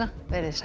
veriði sæl